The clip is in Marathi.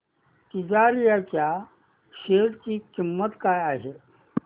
तिजारिया च्या शेअर ची किंमत काय आहे